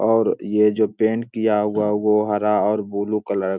और ये जो पेंट किया हुआ वो हरा और ब्लू कलर --